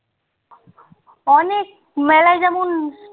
অনেক মেলায় যেমন